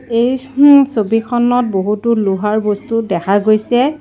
এই ছবিখনত বহুতো লোহাৰ বস্তু দেখা গৈছে।